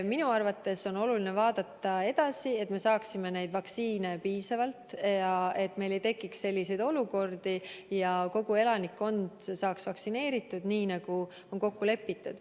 Minu arvates on oluline vaadata edasi, et me saaksime neid vaktsiine piisavalt ja et meil ei tekiks enam selliseid olukordi ja et kogu elanikkond saaks vaktsineeritud, nii nagu on kokku lepitud.